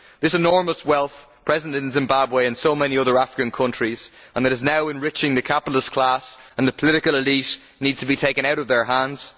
This enormous wealth present in Zimbabwe and in so many other African countries that is now enriching the capitalist class and the political elite needs to be taken out of their hands.